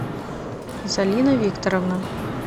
залина викторовна